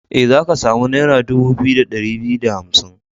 E, za ka samu naira dubu biyu da ɗari biyu da hamsin.